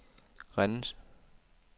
Rennes